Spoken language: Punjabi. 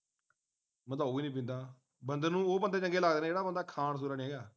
ਮੈਂ ਤਾਂ ਉਹ ਹੀ ਨਹੀਂ ਪੀਂਦਾ ਬੰਦੇ ਨੂੰ ਉਹ ਬੰਦੇ ਚੰਗੇ ਲੱਗਦੇ ਐ ਜਿਹੜਾ ਬੰਦਾ ਖਾਣ ਸੁਣਨ ਹੈਰਾ